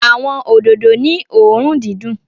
Awọn ododo ni õrùn didùn